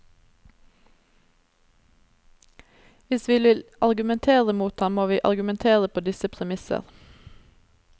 Hvis vi vil argumentere mot ham, må vi argumentere på disse premisser.